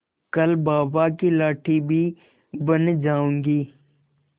कल बाबा की लाठी भी बन जाऊंगी